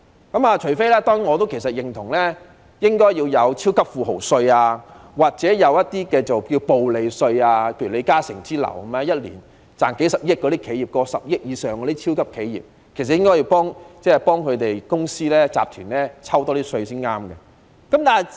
當然，我認同應該徵收"超級富豪稅"或"暴利稅"，例如李嘉誠擁有一年賺取數十億元以上的超級企業，其實政府應該向這些公司或集團多徵一點稅才正確。